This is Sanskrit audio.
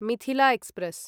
मिथिला एक्स्प्रेस्